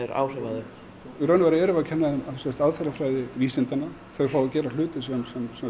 áhrif á þau í raun og veru erum við að kenna þeim aðferðafræði vísindanna þau fá að gera hluti sem